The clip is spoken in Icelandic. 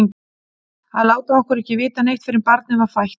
Að láta okkur ekki vita neitt fyrr en barnið var fætt!